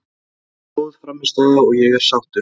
Þetta var mjög góð frammistaða og ég er sáttur.